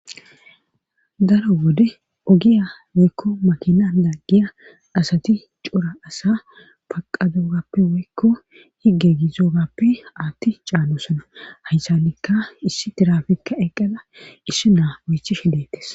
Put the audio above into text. daro wode ogiya woykko makina laggiya asati cora asa paqadogappe woykko higge gizogappe aatti caanosona haysanikka issi tirafikka eqqada issi naa oychishe dettes